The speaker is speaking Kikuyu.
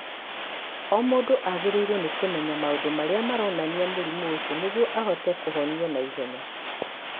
O mũndũ agĩrĩirũo nĩ kũmenya maũndũ marĩa maronania mũrimũ ũcio nĩguo ahote kũhonio na ihenya.